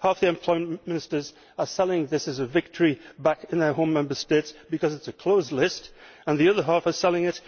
Half the Employment Ministers are selling this as a victory back in their home Member States because it is a closed list, and the other half are selling it